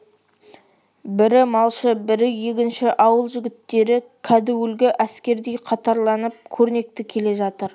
бірі малшы бірі егінші ауыл жігіттері кәдуілгі әскердей қатарланып көрнекті келе жатыр